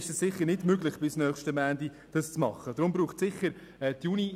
Es ist sicher nicht möglich, eine externe Abklärung bis nächsten Montag durchzuführen.